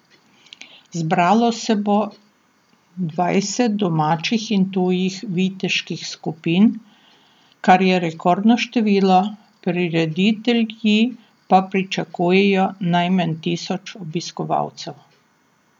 Zbralo se bo dvajset domačih in tujih viteških skupin, kar je rekordno število, prireditelji pa pričakujejo najmanj tisoč obiskovalcev.